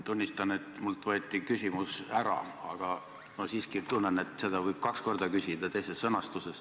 Tunnistan, et mult võeti küsimus ära, aga ehk võib kaks korda küsida, kasutades teist sõnastust.